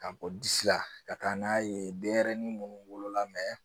Ka bɔ disi la ka taa n'a ye denɲɛrɛnin minnu wolola